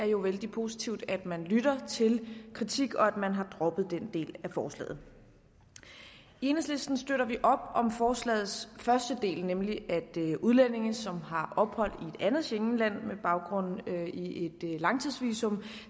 jo vældig positivt at man lytter til kritik og at man har droppet den del af forslaget i enhedslisten støtter vi op om forslagets første del nemlig at udlændinge som har ophold i et andet schengenland med baggrund i et langtidsvisum